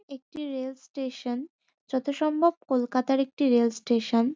একটি rail station. যতসম্ভব কলকাতার একটি রেল স্টেশন ।